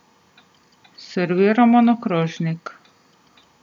Serviramo na krožnik.